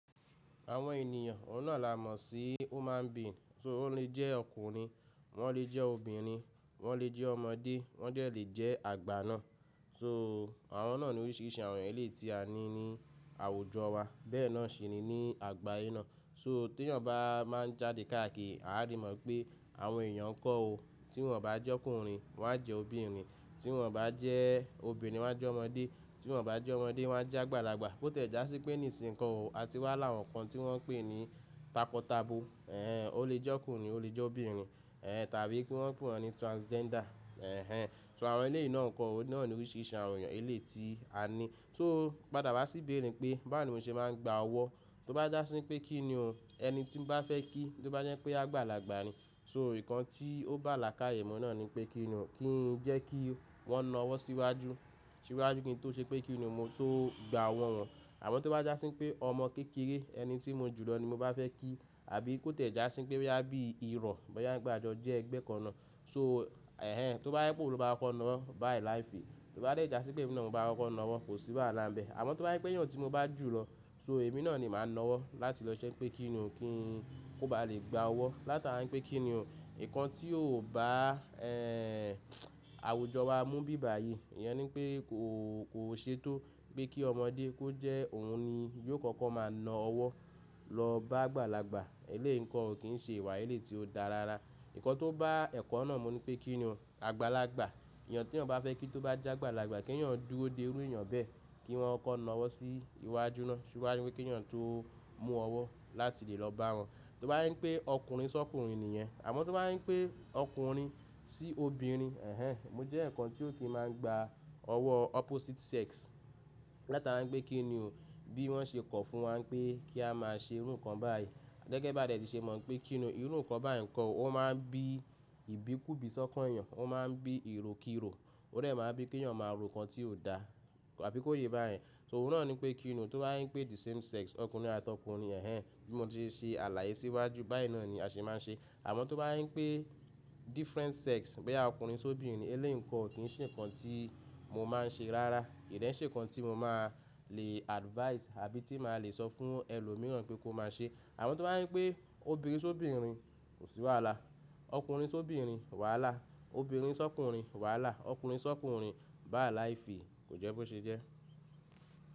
Àwọn ènìyàn, òun náà là mọ̀ sí human being. So ó lè jẹ́ ọkùnrin, wọ́n lè jẹ́ obìnrin, wọ́n lè jẹ́ ọmọdé, wọ́n dẹ́ lè jẹ́ àgbà náà. So àwọn náà ni oríṣìíríṣìí àwọn èlé tí a ní ní àwùjọ wa. Bẹ́ẹ̀ náà ṣi ni ní àgbáyé náà. So tí èèyàn bá máa ń jáde káàkiri, àá rí mọ̀ pé àwọn èèyàn kọ́ òó, tí wọ́n bá jẹ́ ọkùnrin wọ́n á jẹ́ obìnrin, tí wọ́n bá jẹ́ obìnrin wọ́n á jẹ́ ọmọdé, tí wọ́n bá jẹ́ ọmọdé wọ́n á jẹ́ àgbàlagbà. Bó tẹ̀ já sí pé nìsìńkọ́ òó, a ti wá làwọn kan tí wọ́n ń pè ní takọtabo. Ẹ̀hẹn, ó lè jẹ́ ọkùnrin, ó lè jẹ́ obìnrin. Ẹ̀hẹn, tàbí kí wọ́n ń pè wọ́n ní transgender. Ẹ̀hẹn, so àwọn eléyìí náà ń kọ́, òun náà ni oríṣìíríṣìí àwọn ènìyàn eléyìí tí a ní. So padà wá sí ìbéèrè pé báwo ni mo ṣe máa ń gba ọwọ́? Tó bá jásí pé kí ni o, ẹni tí mo bá fẹ́ kí, tó bá jẹ́ pé ágbàlagbà ni. So ìkan tí ó bá là káàyè mọ́ náà ni pé kí ni o, kí í jẹ́ kí wọ́n na ọwọ́ síwájú, síwájú kí n tó ṣe pé kí ni mo tó gba ọwọ́ wọn. Àmọ́ tó bá jásí pé ọmọ kékeré ẹni tí mo jùlọ ni mo bá fẹ́ kí, àbí kó tẹ̀ já sí pé bí i ìran, bóyá gbàgbọ́ jẹ́ ẹgbẹ́ kan ná. So ẹ̀hẹn, tó bá yẹ pé òun ló bá máa kọ́ na wọ́n, by life. Tó bá dẹ̀ jásí pé bí i náà mo bá máa kọ́ na wọ́n, kò sí wàhálà bẹ́ẹ̀. Àmọ́ tó bá yẹ pé èèyàn tí mo bá jùlọ, so èmi náà ni màá na ọwọ́ láti lọ ṣẹ́ pé kí ni o, kí í kó ba lè gba ọwọ́. Láti ára ń pé kí ni o. Ìkan tí ò bá, ẹ́ àwùjọ wá mú bíba yìí, èèyàn ní pé kò, kò ṣe tó pé kí ọmọdé kó jẹ́ òun ni yóò kọ́kọ́ máa na ọwọ́ lọ bá àgbàlagbà. Eléyìí nǹkan ò kí ń ṣe ìwà eléyìí tí ó dára rárá. Ìkan tó bá ẹ̀kọ́ náà mo ní pé kí ni o, àgbàlagbà, èèyàn tí ẹ̀ bá fẹ́ kí tó bá jẹ́ àgbàlagbà, kí èèyàn dúró dé irú èèyàn bẹ́ẹ̀ kí wọ́n kọ́ na ọwọ́ sí iwájú ná. Ṣé wá ju pé kí èèyàn tó mú ọwọ́ láti lè lọ bá wọn. Tó bá yen pé ọkùnrin sọ́ ọkùnrin èèyàn, àmọ́ tó bá yín pé ọkùnrin sí obìnrin, ẹ̀hẹn, mo jẹ́ ǹkan tí ò kí máa ń gba ọwọ́ opposite sex. Láti máa ń gbé kí ni o. Bí wọ́n ṣe kọ̀ fún wa pé kí a máa ṣe irú nǹkan báyìí. Gẹ́gẹ́ bá dẹ̀ tí ṣe mọ̀ pé kí ni o, irú nǹkan báyìí nǹkan ó máa ń bí ìbíkú bí i sọ́kọ̀ èèyàn, ó máa ń bí ìròkirò. Ó dẹ̀ máa bí kí èèyàn máa ro nǹkan tí ò dá, àbí kó ye báyìí. So òun náà ni pé kí ni o. Tó bá yen pé the same sex, ọkùnrin àtó ọkùnrin, ẹ̀hẹn, bí mo ti ṣe ṣe àlàyé síwájú báyìí náà ni a ṣe máa ń ṣe. Àmọ́ tó bá yín pé different sex, bóyá ọkùnrin sí obìnrin, eléyìí nǹkan ò kí ń ṣe nǹkan tí mo máa ń ṣe rárá. Kò dè ṣe nǹkan tí mo máa lè advise àbí tí màá lè sọ fún ẹlòmíràn pé kó máa ṣe. Àmọ́ tó bá yín pé obìnrin sí obìnrin, kò sí wàhálà. Ọkùnrin sí obìnrin, wàhálà. Obìnrin sọ́ ọkùnrin, wàhálà. Ọkùnrin sọ́ ọkùnrin, by life, kò jẹ́ bó ṣe jẹ́.